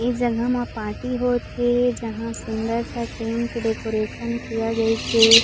एक जगह म पार्टी होत हे जहा सुंदर सा टेंट डेकोरेशन किया गयीस हे।